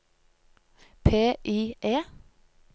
PIE